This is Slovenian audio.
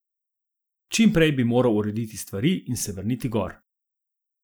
Čim prej bi moral urediti stvari in se vrniti gor.